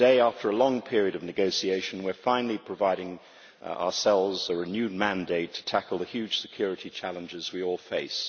Today, after a long period of negotiation, we are finally providing ourselves a renewed mandate to tackle the huge security challenges we all face.